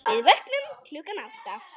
Við vöknum klukkan átta.